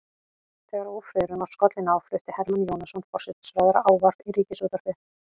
Þegar ófriðurinn var skollinn á flutti Hermann Jónasson forsætisráðherra ávarp í ríkisútvarpið.